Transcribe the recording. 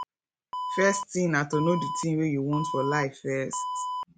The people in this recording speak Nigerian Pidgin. first thing na to know di thing wey you want for life first